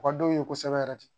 U ka dɔw ye kosɛbɛ yɛrɛ de